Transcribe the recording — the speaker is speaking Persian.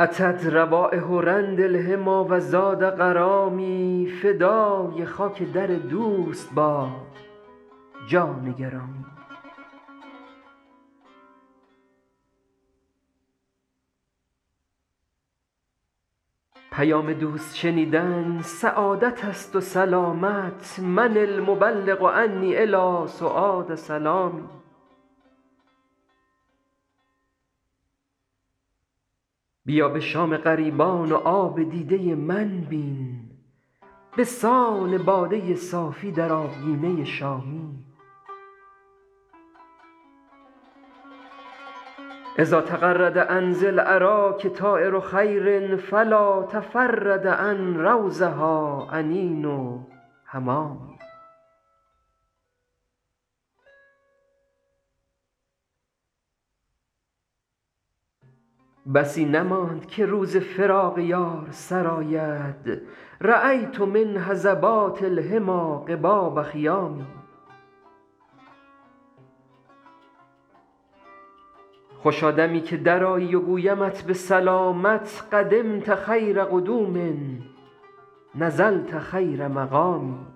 أتت روایح رند الحمیٰ و زاد غرامی فدای خاک در دوست باد جان گرامی پیام دوست شنیدن سعادت است و سلامت من المبلغ عنی إلی سعاد سلامی بیا به شام غریبان و آب دیده من بین به سان باده صافی در آبگینه شامی إذا تغرد عن ذی الأراک طایر خیر فلا تفرد عن روضها أنین حمامي بسی نماند که روز فراق یار سر آید رأیت من هضبات الحمیٰ قباب خیام خوشا دمی که درآیی و گویمت به سلامت قدمت خیر قدوم نزلت خیر مقام